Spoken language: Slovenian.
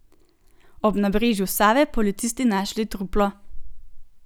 Ob nabrežju Save policisti našli truplo.